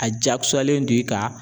A jakosalen don i kan